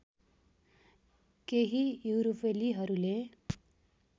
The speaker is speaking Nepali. केही युरोपेलीहरूले